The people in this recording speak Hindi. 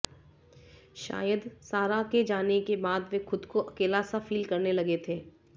शायद सारा के जाने के बाद वे खुद को अकेला सा फील करने लगे थे